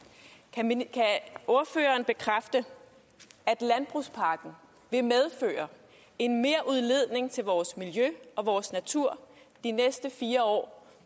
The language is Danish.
kan ordføreren bekræfte at landbrugspakken vil medføre en merudledning til vores miljø og vores natur de næste fire år